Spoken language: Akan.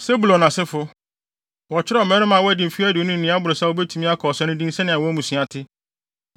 Sebulon asefo: Wɔkyerɛw mmarima a wɔadi mfe aduonu ne nea ɛboro saa a wobetumi akɔ ɔsa no din sɛnea wɔn mmusua te.